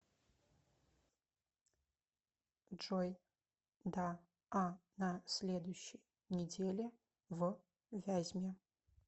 джой да а на следующей неделе в вязьме